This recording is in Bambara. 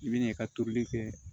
I bi na i ka tonli kɛ